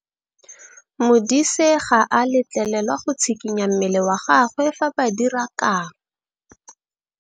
Modise ga a letlelelwa go tshikinya mmele wa gagwe fa ba dira karô.